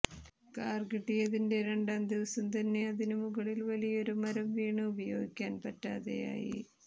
car കിട്ടിയതിന്റെ രണ്ടാം ദിവസം തന്നെ അതിനു മുകളിൽ വലിയൊരു മരം വീണ് ഉപയോഗിക്കാൻ പറ്റാതായി